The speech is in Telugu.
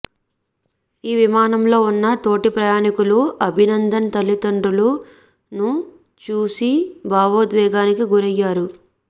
ఈ విమానంలో ఉన్న తోటి ప్రయాణీకులు అభినందన్ తల్లిదండ్రులను చూసీ భావోద్వేగానికి గురయ్యారు